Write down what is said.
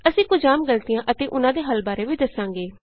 ਅਸੀਂ ਕੁਝ ਆਮ ਗ਼ਲਤੀਆਂ ਅਤੇ ੳਹਨਾਂ ਦੇ ਹੱਲ ਬਾਰੇ ਵੀ ਦਸਾਂਗੇ